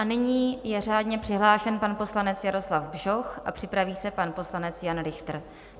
A nyní je řádně přihlášen pan poslanec Jaroslav Bžoch a připraví se pan poslanec Jan Richter.